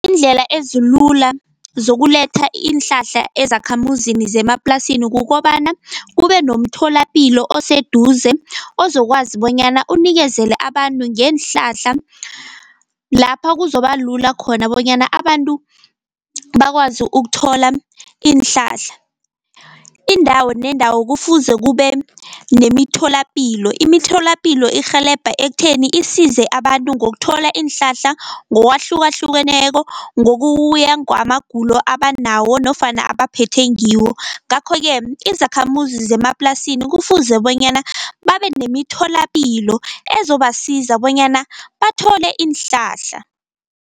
Iindlela ezilula zokuletha iinhlahla ezakhamuzini zemaplasini kukobana kube nomtholapilo oseduze, ozokwazi bonyana unikezele abantu ngeenhlahla lapha kuzobalula khona bonyana abantu bakwazi ukuthola iinhlahla. Indawo nendawo kufuze kube nemitholapilo, imitholapilo irhelebha ekutheni isize abantu ngokuthola iinhlahla ngokwahlukahlukeneko, ngokuya ngwamagulo abanawo nofana abaphethe ngiwo. Ngakho-ke izakhamuzi zemaplasini kufuze bonyana babe nemitholapilo ezobasiza bonyana bathole iinhlahla.